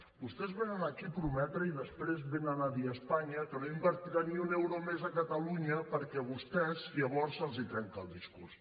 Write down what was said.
vostès venen aquí a prometre i després venen a dir a espanya que no invertiran ni un euro més a catalunya perquè a vostès llavors se’ls trenca el discurs